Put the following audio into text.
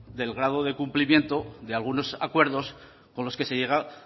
del grado de cumplimiento de algunos acuerdos con los que se llegaba